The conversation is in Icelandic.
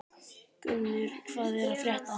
Gunnur, hvað er að frétta?